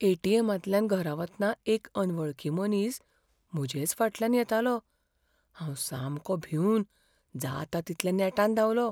ए.टी.एमा तल्यान घरा वतना एक अनवळखी मनीस म्हजेच फाटल्यान येतालो. हांव सामको भिंवन जाता तितल्या नेटान धांवलो.